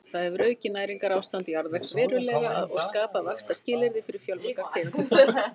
það hefur aukið næringarástand jarðvegs verulega og skapað vaxtarskilyrði fyrir fjölmargar tegundir plantna